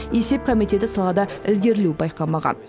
есеп комитеті салада ілгерілеу байқамаған